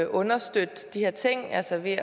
understøtte de her ting altså ved